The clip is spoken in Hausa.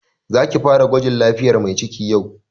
Za ki fara gwajin lafiyar Mai ciki yau!